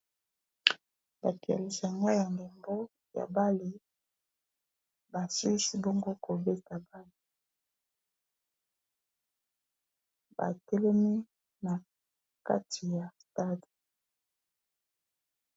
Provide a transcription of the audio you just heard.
Batu ya lisanga ya ndembo ya bale basilisi bongo ko beta bale batelemi na kati ya stade.